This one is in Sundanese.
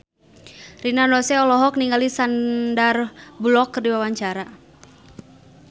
Rina Nose olohok ningali Sandar Bullock keur diwawancara